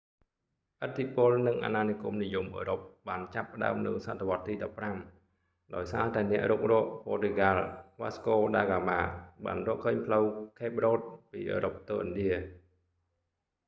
ឥទ្ធិពល និង អាណានិគមនិយមអឺរ៉ុបបានចាប់ផ្តើមនៅសតវត្សរ៍ទី 15 ដោយសារតែអ្នករុករក ព័រទុយហ្កាល់ វ៉ាស្កូដាហ្កាម៉ា បានរកឃើញផ្លូវ ខេប រ៉ូត ពីអឺរ៉ុបទៅឥណ្ឌា